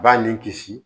B'a ni kisi